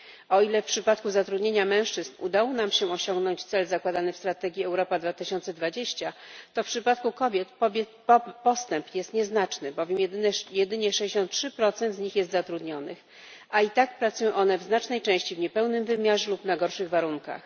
O ile w przypadku zatrudnienia mężczyzn udało nam się osiągnąć cel zakładany w strategii Europa 2020, to w przypadku kobiet postęp jest nieznaczny, bowiem jedynie 63 z nich jest zatrudnionych, a i tak pracują one w znacznej części w niepełnym wymiarze lub na gorszych warunkach.